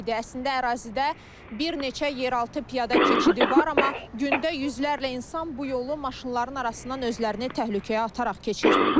Əslində ərazidə bir neçə yeraltı piyada keçidi var, amma gündə yüzlərlə insan bu yolu maşınların arasından özlərini təhlükəyə ataraq keçir.